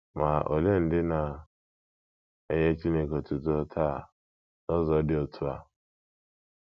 Ma olee ndị na - enye Chineke otuto taa n’ụzọ dị otú a?